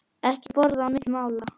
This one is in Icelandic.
Ekki borða á milli mála.